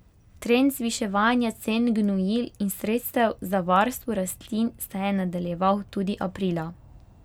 Trend zviševanja cen gnojil in sredstev za varstvo rastlin se je nadaljeval tudi aprila.